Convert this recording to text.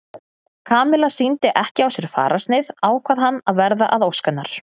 Kamilla sýndi ekki á sér fararsnið ákvað hann að verða að ósk hennar.